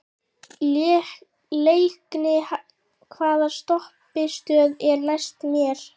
Leikný, hvaða stoppistöð er næst mér?